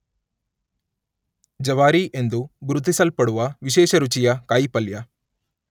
ಜವಾರಿ ಎಂದು ಗುರುತಿಸಲ್ಪಡುವ ವಿಶೇಷ ರುಚಿಯ ಕಾಯಿಪಲ್ಯ